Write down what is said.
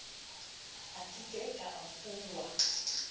a ke ke a fuwa